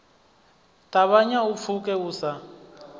ṱavhanya u pfuke u sa